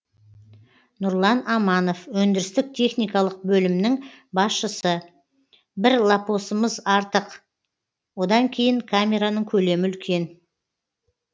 нұрлан аманов өндірістік техникалық бөлімнің басшысы бір лопосымыз артық одан кейін камераның көлемі үлкен